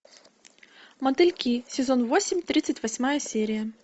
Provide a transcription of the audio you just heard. мотыльки сезон восемь тридцать восьмая серия